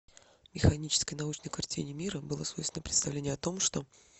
механической научной картине мира было свойственно представление о том что